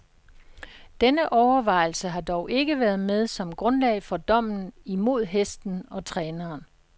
Denne overvejelse har dog ikke været med som grundlag for dommen imod hesten og træneren.